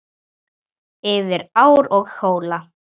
Yfir ár og hóla.